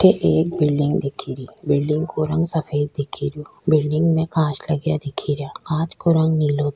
अठे एक बिल्डिंग दिखेरी बिल्डिंग का रंग सफेद दिखरयो बिल्डिंग में कांच लगया दिखरिया कांच को रंग नीलाे --